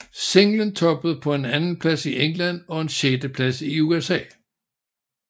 Singlen toppede på en andenplads i England og en sjetteplads i USA